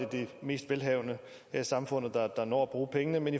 de mest velhavende her i samfundet der når at bruge pengene men